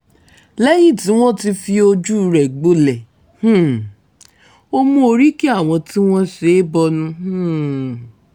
lẹ́yìn tí wọ́n ti fojú ẹ̀ gbolẹ̀ um ó mú oríki àwọn tí wọ́n ṣe é bọnu um